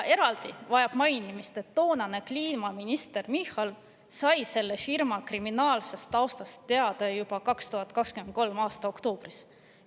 Eraldi vajab mainimist, et toonane kliimaminister Michal sai selle firma kriminaalsest taustast teada juba 2023. aasta oktoobris.